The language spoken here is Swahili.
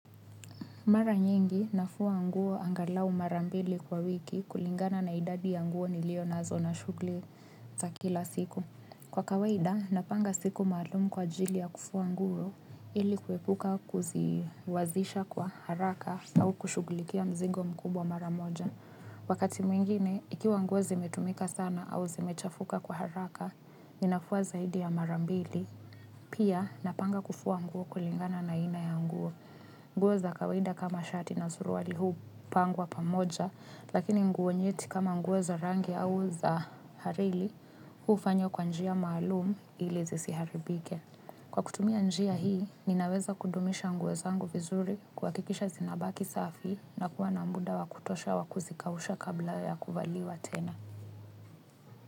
Mara nyengi, nafua nguo angalau marambili kwa wiki kulingana na idadi ya nguo nilio nazo na shugli za kila siku. Kwa kawaida, napanga siku malumu kwa jili ya kufua nguo ili kuepuka kuziwazisha kwa haraka au kushuglikia mzigo mkubwa maramoja. Wakati mwingine, ikiwa nguo zimetumika sana au zimechafuka kwa haraka, ninafua zaidi ya marambili. Pia, napanga kufua nguo kulingana na ina ya nguo. Ngu za kawaida kama shati na suruali huu pangwa pamoja lakini nguo nyeti kama za rangi au za harili hufanyw kwa njia maalumu ili zisiharibike. Kwa kutumia njia hii ninaweza kudumisha nguweza angu vizuri kwa kikisha zinabaki safi na kuwa na mbuda wakutosha wakuzikausha kabla ya kuvaliwa tena.